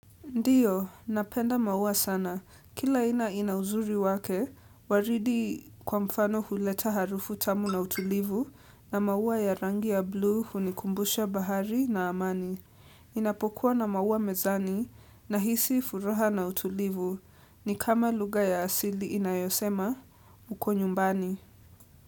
Ndio, napenda maua sana. Kila aina ina uzuri wake, waridi kwa mfano huleta harufu tamu na utulivu na maua ya rangi ya blue hunikumbusha bahari na amani. Ninapokuwa na maua mezani nahisi furaha na utulivu. Ni kama lugha ya asili inayosema, uko nyumbani.